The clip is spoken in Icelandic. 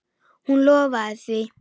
Hún lofaði því.